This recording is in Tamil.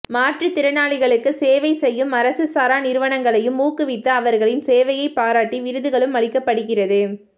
மாற்றுத் திறனாளிகளுக்கு சேவை செய்யும் அரசு சாரா நிறுவனங்களையும் ஊக்குவித்து அவர்களின் சேவையைப் பாராட்டி விருதுகளும் அளிக்கப் படுகிறது